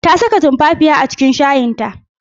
Ta saka tumfafiya a cikin shayin ta.